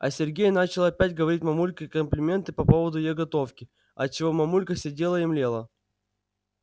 а сергей начал опять говорить мамульке комплименты по поводу её готовки от чего мамулька сидела и млела